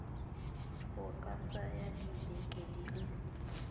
go ka tsaya dibeke di